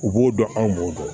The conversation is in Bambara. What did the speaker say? U b'o dɔn anw b'o dɔn